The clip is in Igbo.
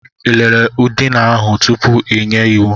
Ị lelee ụ̀dị̀nà ahụ tupu ị nye iwu?